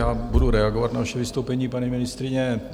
Já budu reagovat na vaše vystoupení, paní ministryně.